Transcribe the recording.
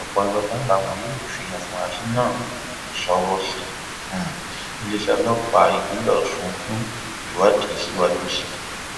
ọpàlọlá làwọn yóò fi àfúrásì náà ṣọwọ sí um iléeṣẹ ọlọpàá ìpínlẹ ọsùn fún um ìwádìí síwájú sí i